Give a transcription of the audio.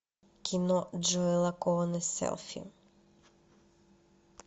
кино джоэла коэна селфи